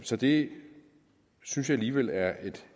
så det synes jeg alligevel er